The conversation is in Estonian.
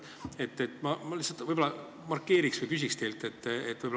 Ma markeerin kaks numbrit, küsin teilt nende kohta.